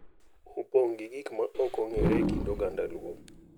opong’ gi gik ma ok ong’ere e kind oganda luo.